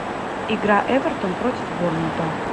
игра эвертон против борнмута